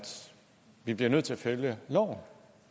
vi bliver nødt til at følge loven